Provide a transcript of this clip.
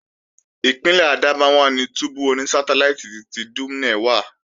Ìpínlè Adamawa ni túbú oní sátáláìtì ti Dumne wà